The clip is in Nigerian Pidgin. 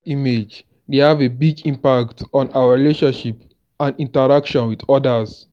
self-image dey have a big impact on our relationships and interactions with odas.